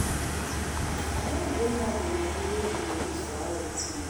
I don bring out the money wey we go use for house dis month